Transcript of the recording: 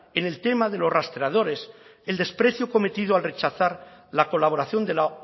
en el tema de los rastreadores el desprecio cometido al rechazar la colaboración de la